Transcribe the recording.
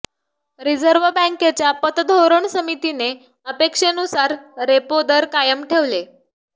reserve बँकेच्या पतधोरण समितीने अपेक्षेनुसार रेपो दर कायम ठेवले